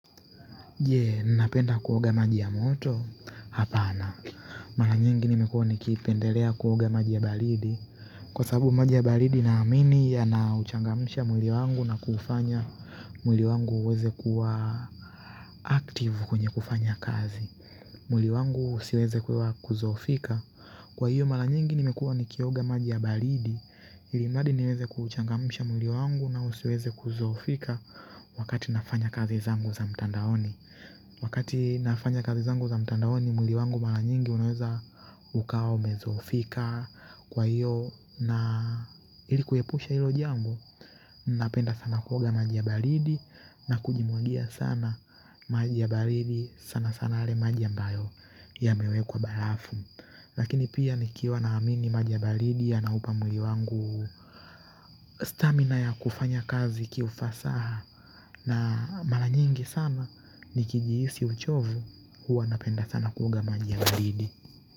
Jee, ninapenda kuoga maji ya moto, hapana. Mara nyingi nimekuwa nikipendelea kuoga maji ya baridi. Kwa sababu maji ya baridi naamini yanauchangamsha mwili wangu na kuufanya, mwili wangu uweze kuwa active kwenye kufanya kazi. Mwili wangu usiweze kudhoofika. Kwa hiyo, mara nyingi nimekuwa nikioga maji ya baridi, ilimradi niweze kuuchangamsha mwili wangu nausiweze kudhoofika wakati nafanya kazi zangu za mtandaoni. Wakati nafanya kazi zangu za mtandaoni mwili wangu mara nyingi unaeza ukawa umedhofika kwa hiyo na ili kuepusha hilo jambo napenda sana kuoga maji ya baridi na kujimwagia sana maji ya baridi sana sana yale maji ambayo yamewekwa barafu lakini pia nikiwa naamini maja ya baridi yanaupa mwili wangu stamina ya kufanya kazi kiufasaha na mara nyingi sana nikijihisi uchovu huwa napenda sana kuoga maji ya baridi.